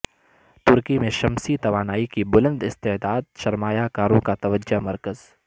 ترکی میں شمسی توانائی کی بلند استعداد سرمایہ کاروں کا توجہ مرکز